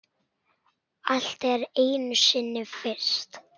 Allt er einu sinni fyrst.